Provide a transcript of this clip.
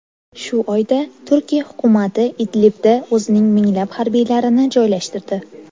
Shu oyda Turkiya hukumati Idlibda o‘zining minglab harbiylarini joylashtirdi.